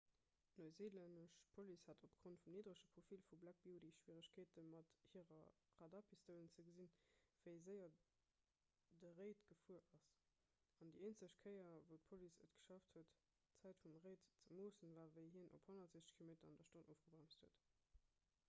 d'neuseelännesch police hat opgrond vum nidderege profil vu black beauty schwieregkeete mat hire radarpistoulen ze gesinn wéi séier de reid gefuer ass an déi eenzeg kéier wou d'police et geschafft huet d'zäit vum reid ze moossen war wéi hien op 160 km/h ofgebremst huet